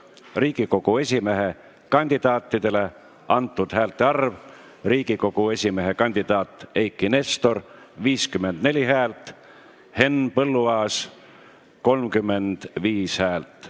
Riigikogu esimehe kandidaatidele antud häälte arv: Eiki Nestor – 54 häält, Henn Põlluaas – 35 häält.